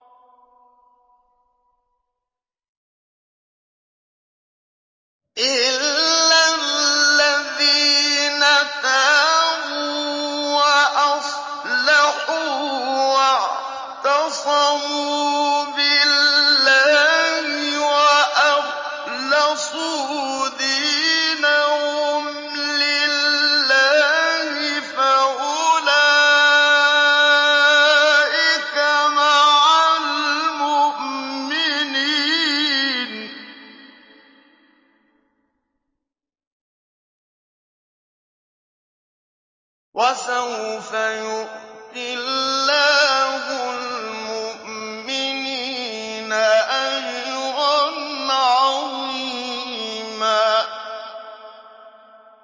إِلَّا الَّذِينَ تَابُوا وَأَصْلَحُوا وَاعْتَصَمُوا بِاللَّهِ وَأَخْلَصُوا دِينَهُمْ لِلَّهِ فَأُولَٰئِكَ مَعَ الْمُؤْمِنِينَ ۖ وَسَوْفَ يُؤْتِ اللَّهُ الْمُؤْمِنِينَ أَجْرًا عَظِيمًا